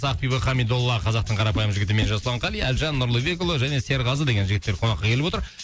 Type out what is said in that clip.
ақбибі қамидолла қазақтың қарапайым жігіті мен жасулан қали әлжан нұрлыбекұлы және серғазы деген жігіттер қонаққа келіп отыр